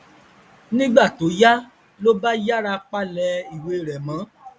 nígbà tó yá ló bá yára palẹ ìwé rẹ mọ